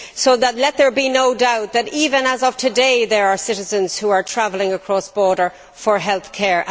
So let there be no doubt that, even as of today, there are citizens who are travelling across borders for healthcare.